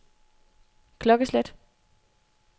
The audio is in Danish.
klokkeslæt